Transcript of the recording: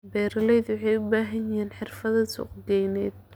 Beeraleydu waxay u baahan yihiin xirfado suuqgeyneed.